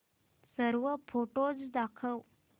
सर्व फोटोझ दाखव